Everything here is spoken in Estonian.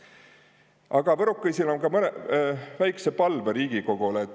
Aga võrokõisil om ka mõnõ väiksõ palvõ Riigikogolõ.